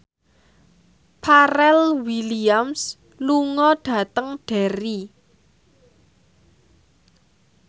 Pharrell Williams lunga dhateng Derry